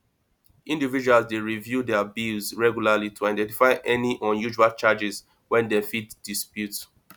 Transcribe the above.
individuals dey review their bills regularly to identify any unusual charges wey dem fit dispute